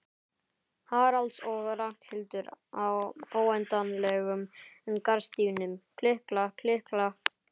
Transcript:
Haralds og Ragnhildar á óendanlegum garðstígnum, klikk-klakk, klikk-klakk.